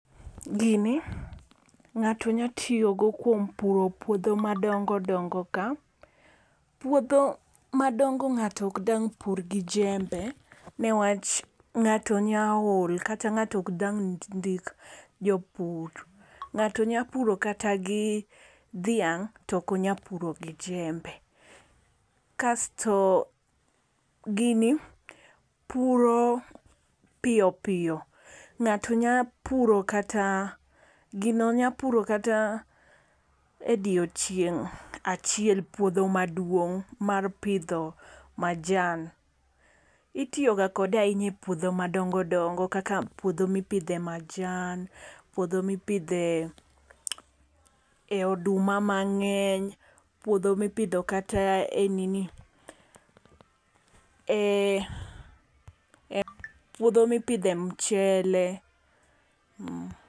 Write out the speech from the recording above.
Gini ng'ato nyatiyogo kuom puro puodho madongo dongo ka. Puodho madongo ng'ato ok dang' pur gi jembe ni wach ng'ato nya ol. Kata ng'ato ok dang' ndik jopur. Ng'ato nyapuro kata gi dhiang' to ok onya puro gi jembe. Kasto, gini puro piyo piyo. Ng'ato nyapuro kata gino nyapuro kata odiochieng' achiel puodho maduong' mar pidho majan. Itiyoga kode ahinya e puodho madongo dongo kaka puodho mipidhe majan. Puodho mipidhe oduma mang'eny. Puodho mipidhe kata puodho mipidhe mchele.